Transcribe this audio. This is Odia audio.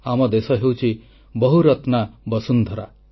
ଆମ ଦେଶ ହେଉଛି ବହୁରତ୍ନା ବସୁନ୍ଧରା